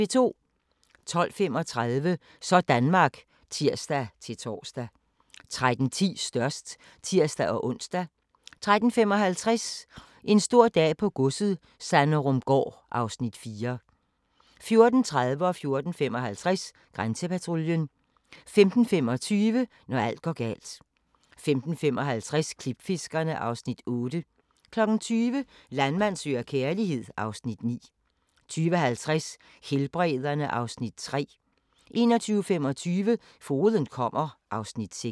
12:35: Sådanmark (tir-tor) 13:10: Størst (tir-ons) 13:55: En stor dag på godset - Sanderumgaard (Afs. 4) 14:30: Grænsepatruljen 14:55: Grænsepatruljen 15:25: Når alt går galt 15:55: Klipfiskerne (Afs. 8) 20:00: Landmand søger kærlighed (Afs. 9) 20:50: Helbrederne (Afs. 3) 21:25: Fogeden kommer (Afs. 6)